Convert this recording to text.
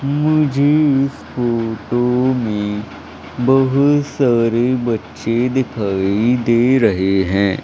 मुझे इस फोटो में बहुत सारे बच्चे दिखाई दे रहे हैं।